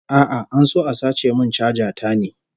A'a, an so a sace min chaja ta ne